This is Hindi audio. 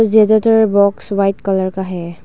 ज्यादातर बॉक्स व्हाइट कलर का है।